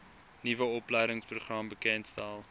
nuwe opleidingsprogram bekendgestel